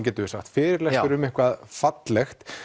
getum við sagt fyrirlestur um eitthvað fallegt